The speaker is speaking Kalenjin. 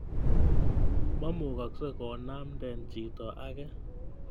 Memukaksei konamden chito age